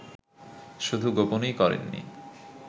শুধু গোপনই করেননি